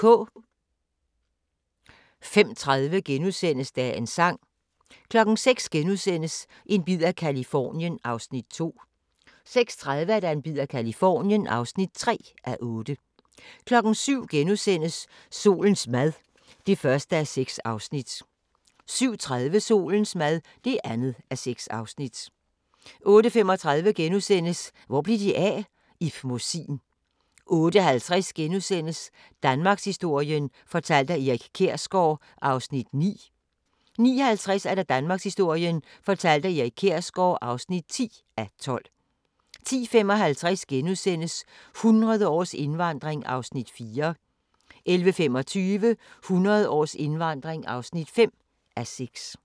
05:30: Dagens sang * 06:00: En bid af Californien (2:8)* 06:30: En bid af Californien (3:8) 07:00: Solens mad (1:6)* 07:30: Solens mad (2:6) 08:35: Hvor blev de af? - Ib Mossin * 08:50: Danmarkshistorien fortalt af Erik Kjersgaard (9:12)* 09:50: Danmarkshistorien fortalt af Erik Kjersgaard (10:12) 10:55: 100 års indvandring (4:6)* 11:25: 100 års indvandring (5:6)